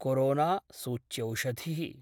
corona सूच्यौषधि: